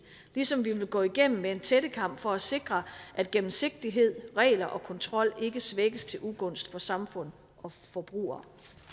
ligesom vi vil gå det igennem med en tættekam for at sikre at gennemsigtighed regler og kontrol ikke svækkes til ugunst for samfundet og forbrugerne